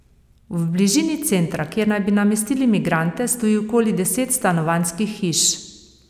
V bližini centra, kjer naj bi namestili migrante, stoji okoli deset stanovanjskih hiš.